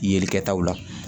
Yelikɛtaw la